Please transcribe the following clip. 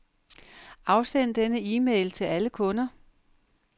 Afsend denne e-mail til alle kunder.